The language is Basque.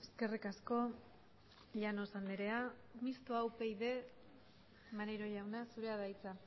eskerrik asko llanos andrea mistoa upyd maneiro jauna zurea da hitza